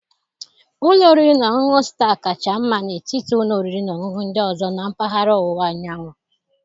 Ụlọ oriri na ọṅụṅụ Staa kacha mma n'etiti ụlọ oriri na ọṅụṅụ ndị ọzọ na mpaghara ọwụwa anyanwụ